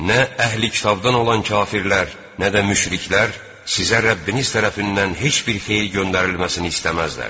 Nə əhli-kitabdan olan kafirlər, nə də müşriklər sizə Rəbbiniz tərəfindən heç bir xeyir göndərilməsini istəməzlər.